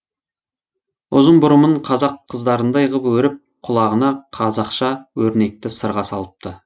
ұзын бұрымын қазақ қыздарындай ғып өріп құлағына қазақша өрнекті сырға салыпты